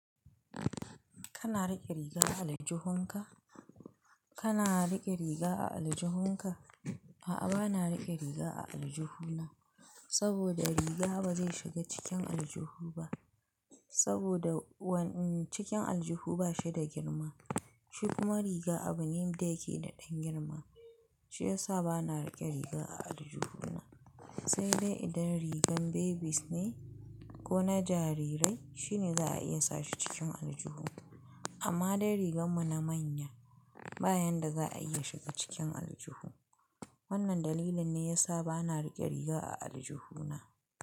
Kana riƙe riga a aljihunka? Kana riƙe riga a aljihunka? A'a, bana riƙe riga a aljihu. Saboda riga ba zai shiga cikin aljihu ba. Saboda wannan cikin aljihu ba shi da girma. Shi kuma riga abu ne da yake da ɗan girma. Shi ya sa bana riƙe riga a aljihu na. Sai dai idan rigar babies ne ko na jarirai shine za a iya sa shi cikin aljihu. Amma dai rigar mu na manya. Ba yanda za a iya shiga cikin aljihu. Wannan dalilin ne ya sa bana riƙe riga a aljihu na.